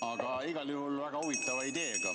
Aga igal juhul väga huvitava ideega.